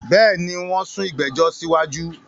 Bẹ́ẹ̀ni, wón sún ìgbẹ̀jọ̀ sí wájú